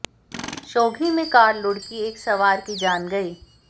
शोघी में कार लुढ़की एक सवार की जान गई